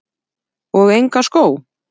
Og enga skó?